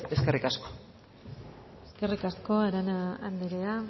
eskerrik asko eskerrik asko arana andrea